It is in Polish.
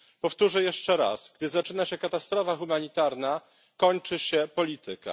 Powtórzę jeszcze raz gdy zaczyna się katastrofa humanitarna, kończy się polityka.